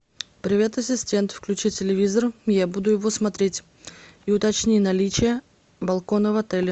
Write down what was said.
привет ассистент включи телевизор я буду его смотреть и уточни наличие балкона в отеле